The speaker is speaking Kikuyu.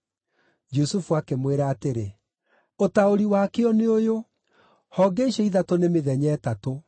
Jusufu akĩmwĩra atĩrĩ, “Ũtaũri wakĩo nĩ ũyũ: Honge icio ithatũ nĩ mĩthenya ĩtatũ.